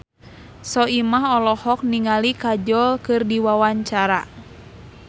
Soimah olohok ningali Kajol keur diwawancara